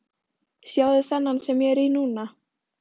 Sjáðu þennan sem ég er í núna?